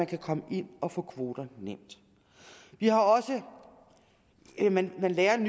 kan komme ind og få kvoter vi har også man lærer en